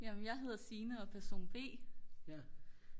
jamen jeg hedder Signe og jeg er person b